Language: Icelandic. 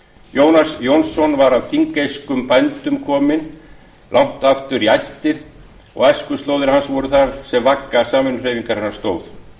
jónas jónsson var af þingeyskum bændum kominn langt aftur í ættir og æskuslóðir hans voru þar sem vagga samvinnuhreyfingarinnar stóð